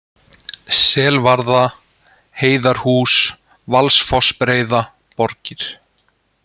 Selvarða, Heiðarhús, Valsfossbreiða, Borgir